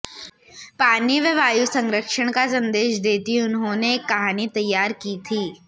पानी व वायु संरक्षण का संदेश देती उन्होंने एक कहानी तैयार की थी